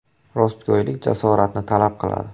Rostgo‘ylik jasoratni talab qiladi.